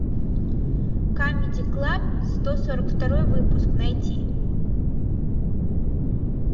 камеди клаб сто сорок второй выпуск найти